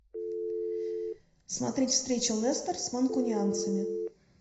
смотреть встречу лестер с манкунианцами